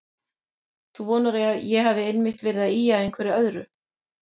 Þú vonar að ég hafi einmitt verið að ýja að einhverju öðru.